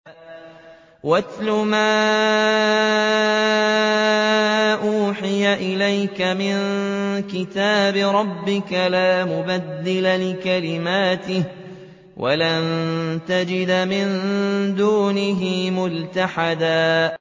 وَاتْلُ مَا أُوحِيَ إِلَيْكَ مِن كِتَابِ رَبِّكَ ۖ لَا مُبَدِّلَ لِكَلِمَاتِهِ وَلَن تَجِدَ مِن دُونِهِ مُلْتَحَدًا